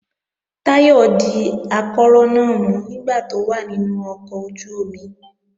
Táyọ̀ di ìdákọrò náà mú nígbà tó wà nínú ọkọ̀ ojú-omi